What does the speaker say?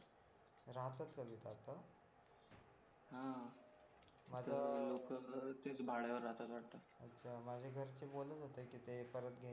हा मला ते तेच लोक भाड्यावर राहतात वाटतं अच्छा माझ्या घरचे बोलत होते की ते घर परत घ्यायचं